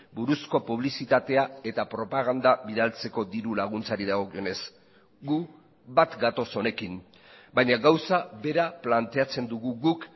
buruzko publizitatea eta propaganda bidaltzeko diru laguntzari dagokionez gu bat gatoz honekin baina gauza bera planteatzen dugu guk